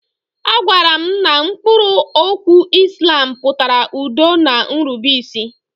A gwaara m na mkpụrụ okwu Islam pụtara udo na nrubeisi.